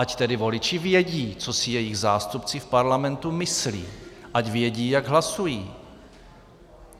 Ať tedy voliči vědí, co si jejich zástupci v parlamentu myslí, ať vědí, jak hlasují.